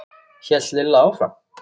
hélt Lilla áfram.